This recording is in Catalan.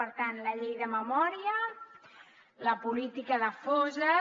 per tant la llei de memòria la política de fosses